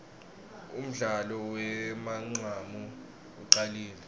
undlalo wemancamu ucalile